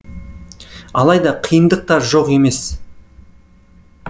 алайда қиындық та жоқ емес